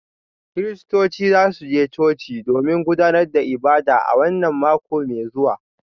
Kiristocin za su je coci domin gudanar da ibada a wannan mako mai zuwa